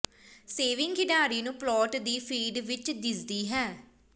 saving ਖਿਡਾਰੀ ਨੂੰ plot ਦੀ ਫੀਡ ਵਿੱਚ ਦਿਸਦੀ ਹੈ